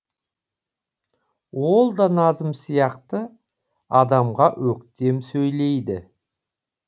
ол да назым сияқты адамға өктем сөйлейді